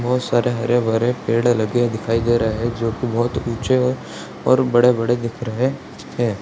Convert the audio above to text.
बहुत सारे हरे-भरे पेड़ लगे दिखाई दे रहे हैं जो की बहुत ऊंचे और बड़े-बड़े दिख रहे हैं।